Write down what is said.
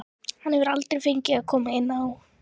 Hann hefur aldrei fengið að koma inn á.